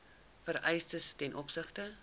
vereistes ten opsigte